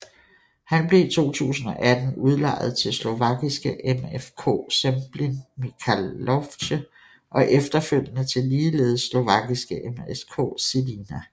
Han blev i 2018 udlejet til slovakiske MFK Zemplín Michalovce og efterfølgende til ligeledes slovakiske MŠK Žilina